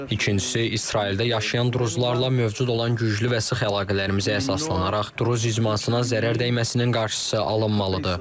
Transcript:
İkincisi, İsraildə yaşayan druzlarla mövcud olan güclü və sıx əlaqələrimizə əsaslanaraq, druz icmasına zərər dəyməsinin qarşısı alınmalıdır.